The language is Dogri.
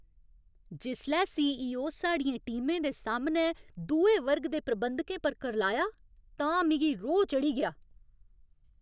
जिसलै सी. ई. ओ. साढ़ियें टीमें दे सामनै दुए वर्ग दे प्रबंधकें पर करलाया तां मिगी रोह् चढ़ी गेआ ।